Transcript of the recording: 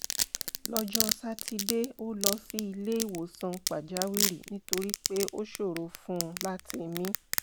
lọ́jọ́ sátidé ó lọ sí ilé ìwòsàn pàjáwìrì nítorí pé ó ṣòro fún un láti mí